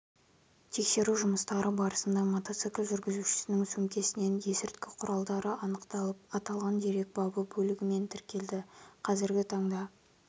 тексеру жұмыстары барысында мотоцикл жүргізушісінің сөмкесінен есірткі құралдары анықталып аталған дерек бабы бөлігімен тіркелді қазіргі таңда